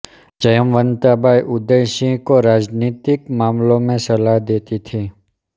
जयवंता बाई उदय सिंह को राजनीतिक मामलों में सलाहें देती थी